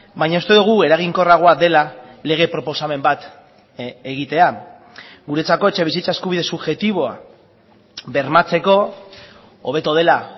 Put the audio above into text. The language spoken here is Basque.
baina uste dugu eraginkorragoa dela lege proposamen bat egitea guretzako etxebizitza eskubide subjektiboa bermatzeko hobeto dela